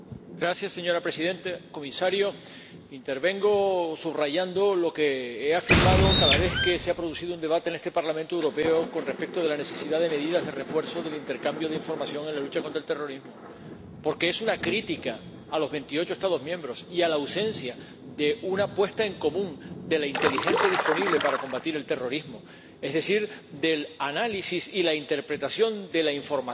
Señora Presidenta, Comisario, intervengo subrayando lo que he afirmado cada vez que se ha producido un debate en este Parlamento Europeo con respecto de la necesidad de medidas de refuerzo del intercambio de información en la lucha contra el terrorismo, porque es una crítica a los veintiocho Estados miembros y a la ausencia de una puesta en común de la inteligencia disponible para combatir el terrorismo, es decir, del análisis y la interpretación de la información